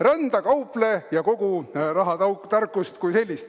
Rända, kauple, ja kogu rahatarkus kui selline.